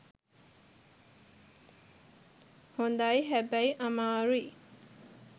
හොඳයි හැබැයි අමාරුයි